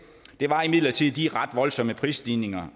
var imidlertid de ret voldsomme prisstigninger